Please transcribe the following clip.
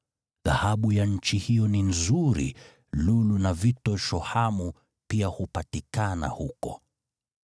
(Dhahabu ya nchi hiyo ni nzuri, bedola na vito shohamu pia hupatikana huko.)